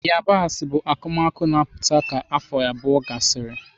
Yabasị bụ akụmakụ na-aputa ka afọ abụọ gasịrị.